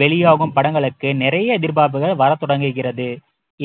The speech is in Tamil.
வெளியாகும் படங்களுக்கு நிறைய எதிர்பார்ப்புகள் வரத் தொடங்குகிறது